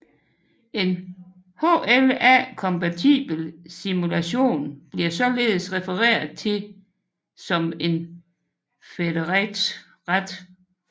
En HLA kompatibel simulation bliver således refereret til som en federate